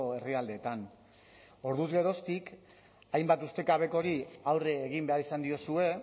herrialdeetan orduz geroztik hainbat ustekabekori aurre egin behar izan diozue